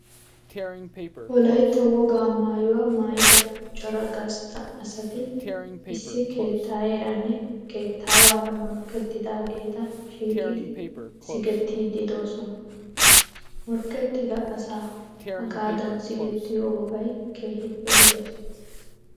Wolaytta wogaa maayuwa maayida cora gastta asati issi keettaayeeranne keettaawaara morkkettidaageeta shiiqidi sigettiiddi doosona. Morkkettida asa hagaadan sigettiyo wogay keehippe lo'ees.